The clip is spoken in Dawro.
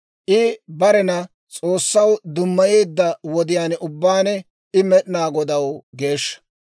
I barena S'oossaw dummayeedda wodiyaan ubbaan I Med'inaa Godaw geeshsha.